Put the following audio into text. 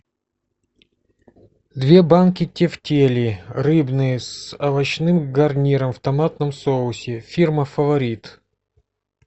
две банки тефтелей рыбные с овощным гарниром в томатном соусе фирма фаворит